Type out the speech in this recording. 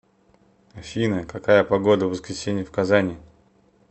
афина какая погода в воскресенье в казани